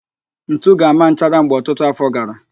Ntu ga-ama nchara mgbe ọtutu afọ gara